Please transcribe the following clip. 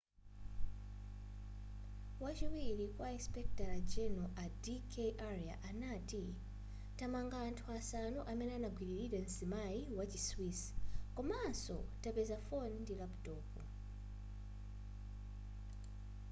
wachiwiri kwa insipekitala general a d k arya anati tamanga anthu asanu amene anagwililira mzimayi wa chi swiss komanso tapeza foni ndi laputopu